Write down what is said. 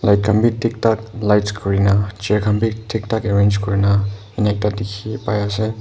ligh khan bi thik thak lights kurina chair khan bi thik thak arrange kurina enika dikhi pai ase.